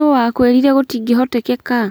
No wakwĩrire gũĩtingĩhotekeka?